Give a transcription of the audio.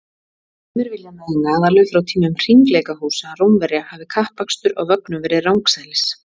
Sumir vilja meina að alveg frá tímum hringleikahúsa Rómverja hafi kappakstur á vögnum verið rangsælis.